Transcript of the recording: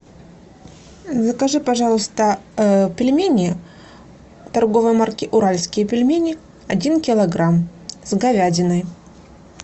закажи пожалуйста пельмени торговой марки уральские пельмени один килограмм с говядиной